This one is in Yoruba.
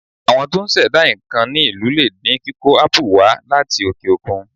Àwọn tó ń ṣẹ̀dá nǹkan ní ìlú lè dín kíkó ápù wà á láti òkè òkun.